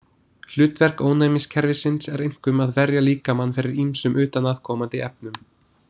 Hlutverk ónæmiskerfisins er einkum að verja líkamann fyrir ýmsum utanaðkomandi efnum.